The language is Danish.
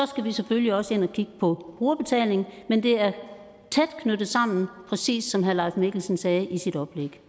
skal vi selvfølgelig også ind og kigge på brugerbetaling men det er tæt knyttet sammen præcis som herre leif mikkelsen sagde i sit oplæg